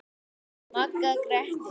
Magga gretti sig.